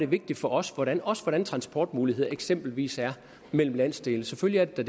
vigtigt for os hvordan os hvordan transportmulighederne eksempelvis er mellem landsdelene selvfølgelig er det